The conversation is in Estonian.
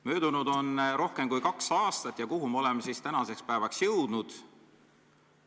Möödunud on rohkem kui kaks aastat ja kuhu me oleme siis tänaseks päevaks jõudnud?